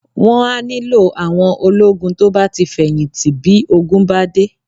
Wọn a nílò àwọn ológun to bá ti feyinti bí ogun bá dé